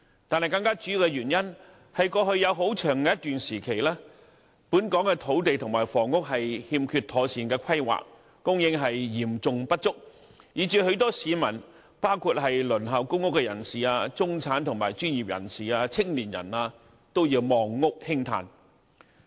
但是，更主要的原因，是過去有很長一段時期，本港土地和房屋欠缺妥善規劃，供應嚴重不足，以致許多市民，包括輪候公屋人士、中產、專業人士及青年人，都要"望屋興嘆"。